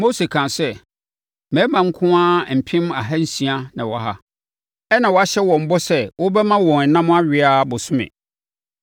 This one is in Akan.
Mose kaa sɛ, “Mmarima nko ara mpem ahansia na wɔwɔ ha, ɛnna woahyɛ wɔn bɔ sɛ wobɛma wɔn ɛnam awe ara bosome!